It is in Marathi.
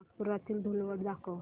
नागपुरातील धूलवड दाखव